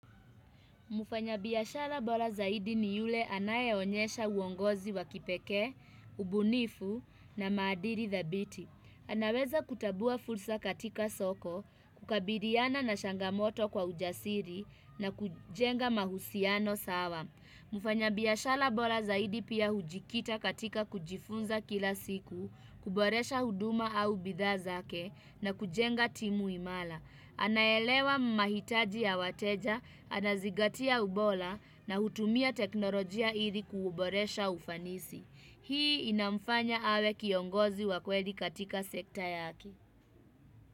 Mufanya biashara bora zaidi ni yule anayeonyesha uongozi wakipekee, ubunifu na madhili the dhabiti. Anaweza kutambua fursa katika soko, kukabiliana na changamoto kwa ujasiri na kujenga mahusiano sawa. Mufanya biashara bora zaidi pia hujikita katika kujifunza kila siku, kuboresha huduma au bidhaa zake na kujenga timu imara. Anaelewa mahitaji ya wateja, anazigatia ubora na hutumia teknolojia hili kuuboresha ufanisi. Hii inamfanya awe kiongozi wa kweli katika sekta yake.